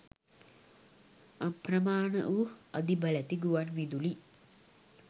අප්‍රමාණ වූ අධිබලැති ගුවන්විදුලි